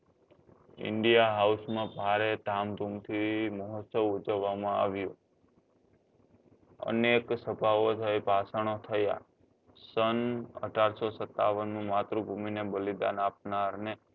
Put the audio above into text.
India માં ભારે ધામધૂમ થી મોહત્સવ ઉજવવા માં આવ્યો અનેક સભા ઓ થઇ ભાષણો થયા સન અઢારસો સત્તાવન નું માતૃભુમી ને બલિદાન આપનાર ને